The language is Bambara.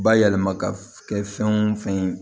Bayɛlɛma ka kɛ fɛn o fɛn ye